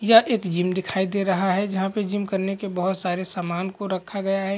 यह एक जिम दिखाई दे रहा है जहाँ पे जिम करने बहोत सारे सामान को रखा गया हैं।